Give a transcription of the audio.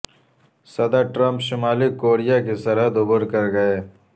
صدر ٹرمپ شمالی کوریا کی سرحد عبور کر گئے